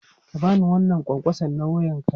Ka ba ni wannan ƙwanƙwasa na wuyanka!